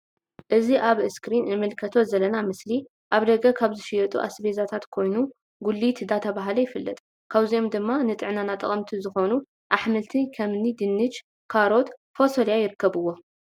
እዚ ውብ ኣዝክሪን እንምልከቶ ዘለና ምስሊ ኣብ ደገ ካብ ዝሽየጡ ኣስቤዛታት ኮይኑ ጉሊት ዳተብሃለ ይፍለጥ ።ካብዚኦም ድማ ንጥዕናና ጠቀምቲ ዝኮኑ ኣሕምልቲ ከምኒ ድንሽ ካሮት ፎሰልያ ይርከብዎም።